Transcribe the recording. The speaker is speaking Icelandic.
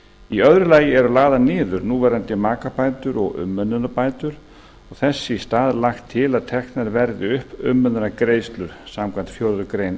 í öðru lagi eru lagðar niður núverandi makabætur og umönnunarbætur og þess í stað lagt til að teknar verði upp umönnunargreiðslur samkvæmt fjórðu grein